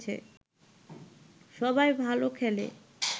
সবাই ভালো খেলে